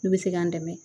Ne bɛ se k'an dɛmɛ